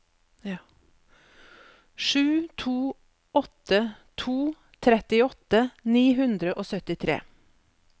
sju to åtte to trettiåtte ni hundre og syttitre